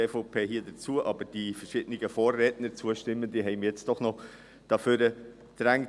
Aber die verschiedenen zustimmenden Vorredner haben mich jetzt doch nach vorne getrieben.